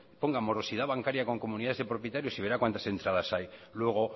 ponga morosidad bancaria con comunidades de propietarios y verá cuantas entradas hay luego